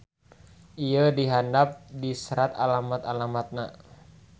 Ieu di handap diseratalamat-alamatna.